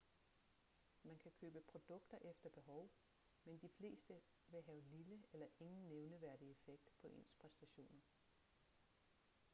man kan købe produkter efter behov men de fleste vil have lille eller ingen nævneværdig effekt på ens præstationer